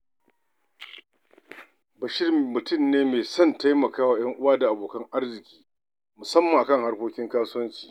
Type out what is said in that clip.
Bashir mutum ne mai son taimaka wa 'yan uwa da abokan arziki, musamman a kan harkokin kasuwancinsu.